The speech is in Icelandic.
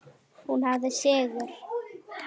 Nei, ekki alltaf.